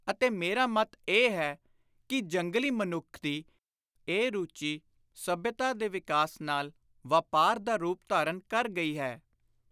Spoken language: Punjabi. ਅਤੇ ਮੇਰਾ ਮੱਤ ਇਹ ਹੈ ਕਿ ਜੰਗਲੀ ਮਨੁੱਖ ਦੀ ਇਹ ਰੂਚੀ ਸੱਭਿਅਤਾ ਦੇ ਵਿਕਾਸ ਨਾਲ ‘ਵਾਪਾਰ’ ਦਾ ਰੂਪ ਧਾਰਨ ਕਰ ਗਈ ਹੈ।